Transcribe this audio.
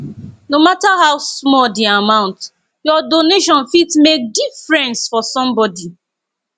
no matter how small the amount your donation fit make difference for somebody